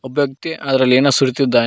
ಒಬ್ಬ ವ್ಯಕ್ತಿ ಅದರಲ್ಲಿ ಏನೋ ಸುರಿಯುತ್ತಿದ್ದಾನೆ.